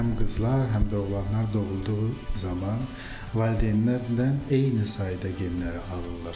Həm qızlar, həm də oğlanlar doğulduğu zaman valideynlərdən eyni sayda genləri alırlar.